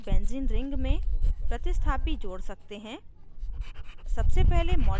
हम phenol की benzene ring में प्रतिस्थापी जोड़ सकते हैं